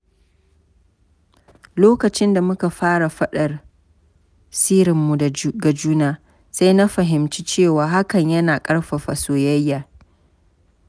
Lokacin da muka fara faɗar sirrinmu ga juna, sai na fahimci cewa hakan yana ƙarfafa soyayya.